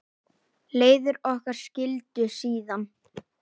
Leiðir okkar skildi síðan.